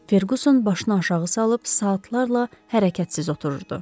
Ferquson başını aşağı salıb saatlarla hərəkətsiz otururdu.